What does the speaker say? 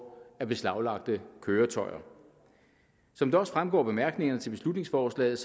af beslaglagte køretøjer som det også fremgår af bemærkningerne til beslutningsforslaget